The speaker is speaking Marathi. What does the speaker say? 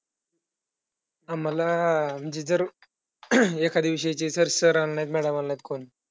आम्हांला म्हणजे जर एखाद्या विषयांचे sir आले नाहीत madam आले नाहीत कोण,